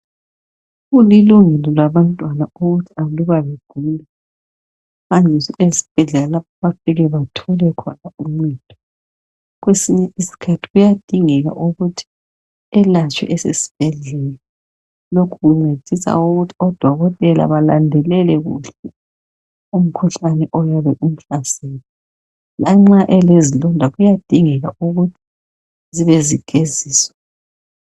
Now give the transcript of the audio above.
Kulilungelo labantwana ukuthi aluba begula, hanjiswe esibhedleia. Lapho ayafika bathole khona uncedo..Kwesinye isikhathi kuyadingeka ukuthi elatshwe esesibhedlela. Lokhu kuncedisa ukuthi odokotela belandelele kuhle umkhuhlane oyabe umhlasele. Lanxa elezilonda kuyadingeka ukuthi zibe zigeziswa.